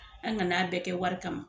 An ŋan'a bɛɛ kɛ wari kama.